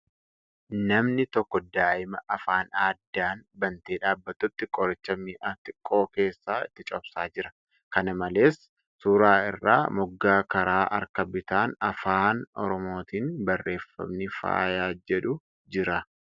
Namni tokko daa'ima afaan addaan bantee dhaabbattutti qoricha mi'a xiqqoo keessaa itti cobsaa jira . Kana malees, suura irraa moggaa karaa harka bitaan Afaan Oromootiin barreeffamni ' Fayyaa ' jedhu jira.